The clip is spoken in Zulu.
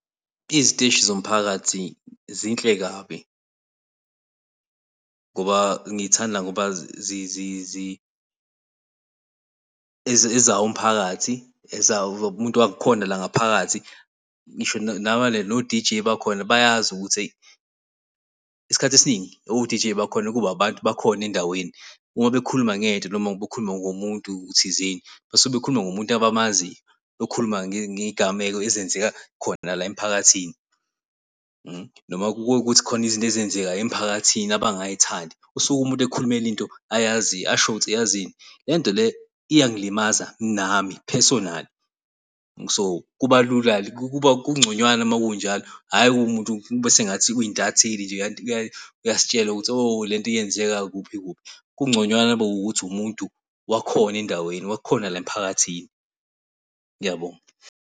Iziteshi zomphakathi zinhle kabi ngoba ngiy'thanda ngoba ezawo umphakathi ezawo umuntu wakhona la ngaphakathi. Ngisho no-D_J bakhona bayazi ukuthi hheyi isikhathi esiningi o-D_J bakhona kuba abantu bakhona endaweni uma bekhuluma ngento, noma bekhuluma ngomuntu thizeni basuke bekhuluma ngomuntu abamaziyo bekhuluma ngey'gameko ezenzeka khona la emiphakathini. Noma uma kube ukuthi kukhona izinto ezenzeka emiphakathini abangay'thandi usuke umuntu ekhulumela into ayaziyo asho ukuthi yazini lento le iyangilimaza nami personal. So, kuba lula-ke kuba kungconywana uma kunjalo, hhayi kumuntu, kube sengathi uyintatheli uyasitshela ukuthi oh lento yenzeka kuphi kuphi. Kungconywana uma kuwukuthi umuntu wakhona endaweni wakhona la emphakathini. Uyabo?